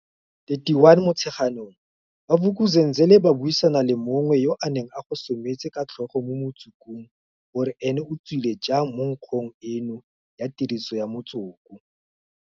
31 Motsheganong, ba Vuk'uzenzele ba buisana le mongwe yo a neng a gosometse ka tlhogo mo motsokong gore ene o tswile jang mo nkgong eno ya tiriso ya motsoko.